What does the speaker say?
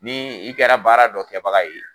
Ni i kɛra baara dɔ kɛbaga ye